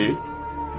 Elə deyil?